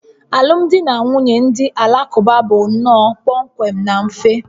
Alụmdi na nwunye ndị Alakụba bụ nnọọ kpọmkwem na mfe